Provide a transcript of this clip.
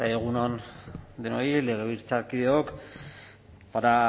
egun on denoi legebiltzarkideok para